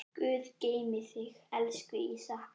Guð geymi þig, elsku Ísak.